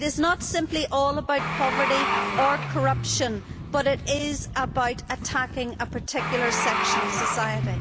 It is not simply all about poverty or corruption, but it is about attacking a particular section of society.